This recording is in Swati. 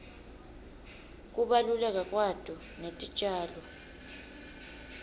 kubaluleka kwato netitjalo